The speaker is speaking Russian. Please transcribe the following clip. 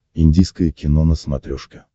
индийское кино на смотрешке